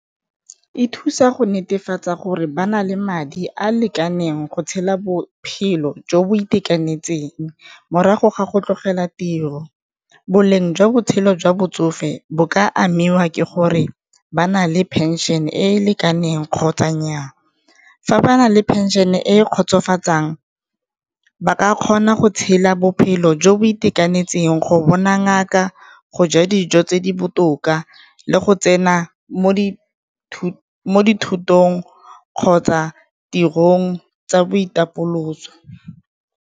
E thusa go netefatsa gore ba na le madi a a lekaneng go tshela bophelo jo bo itekanetseng, morago ga go tlogela tiro. Boleng jwa botshelo jwa botsofe bo ka amiwa ke gore ba na le phenšene e e lekaneng kgotsa nnyaa, fa ba na le pension e kgotsofatsang ba ka kgona go tshela bophelo jo bo itekanetseng go bona ngaka, go ja dijo tse di botoka le go tsena mo dithutong kgotsa tirong tsa boitapoloso.